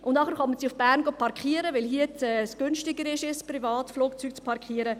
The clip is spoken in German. Danach kommen sie nach Bern parken, weil es günstiger ist, ihr Privatflugzeug hier zu parken.